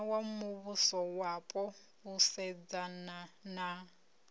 wa muvhusowapo u sedzana na